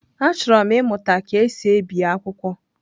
Achọrọ m ịmụta ka e si ebi akwụkwọ.